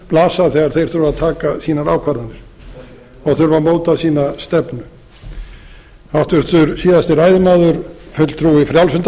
blasa þegar þeir þurfa að taka sínar ákvarðanir og þurfa að móta sína stefnu háttvirtur síðasti ræðumaður fulltrúi frjálslynda